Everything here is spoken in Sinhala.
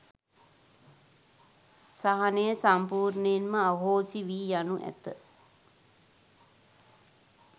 සහනය සම්පූර්ණයෙන්ම අහෝසි වී යනු ඇත.